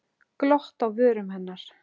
Glott á vörum hennar.